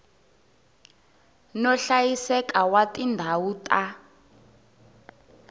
no hlayiseka wa tindhawu ta